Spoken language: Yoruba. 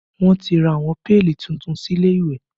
Wọn ti ra àwọn péèlì tuntun sí ilé ìwẹ̀